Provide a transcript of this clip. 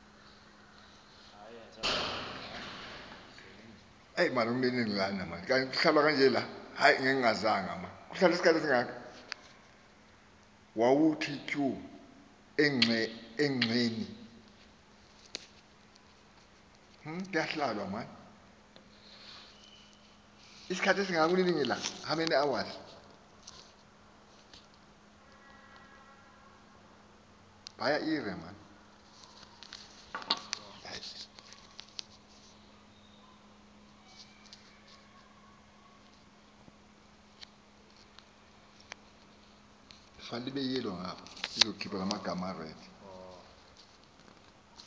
wawnthi tyu egxeni